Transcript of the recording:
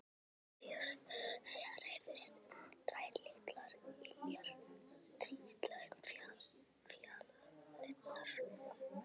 Litlu síðar heyrðust tvær litlar iljar trítla um fjalirnar.